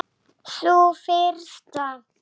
Greip fram í fyrir henni.